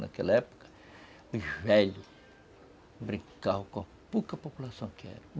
Naquela época, os velhos brincavam com a pouca população que era.